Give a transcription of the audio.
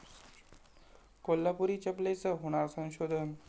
कोल्हापुरी चपलेचं होणार संशोधन